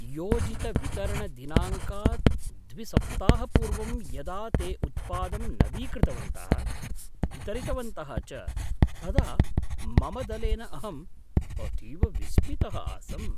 योजितवितरणदिनाङ्कात् द्विसप्ताहपूर्वं यदा ते उत्पादं नवीकृतवन्तः, वितरितवन्तः च तदा मम दलेन अहम् अतीव विस्मितः आसम्।